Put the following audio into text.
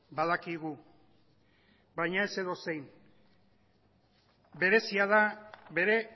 badakigu baina ez edozein berezia da bere